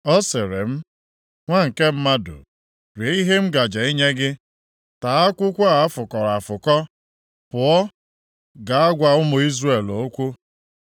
Ọ sịrị m, “Nwa nke mmadụ, rie ihe a m gaje inye gị. Taa akwụkwọ a a fụkọrọ afụkọ; pụọ gaa gwa ụmụ Izrel okwu.”